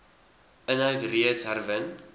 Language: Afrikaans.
inhoud reeds herwin